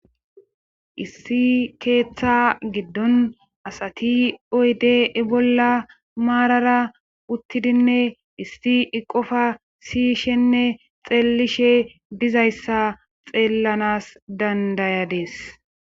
issi keeththa giddon asati oyde e bolla maarara uttidinne isti iqofa siyishenne xeellishe dizayssa xeellanas dandayadees